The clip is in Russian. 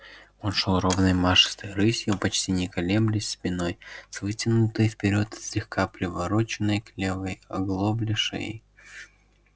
он шёл ровной машистой рысью почти не колеблясь спиной с вытянутой вперёд и слегка привороченной к левой оглобле шеей